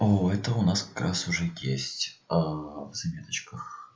оо у нас как раз уже есть в заметочках